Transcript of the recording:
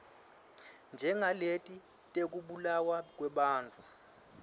njengaleti tekubulawa kwebantfu